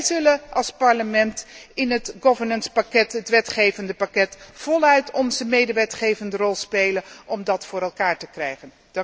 Wij zullen als Parlement in het governance pakket, het wetgevende pakket, voluit onze medewetgevende rol spelen om dat voor elkaar te krijgen.